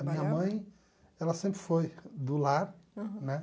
A minha mãe, ela sempre foi do lar, né?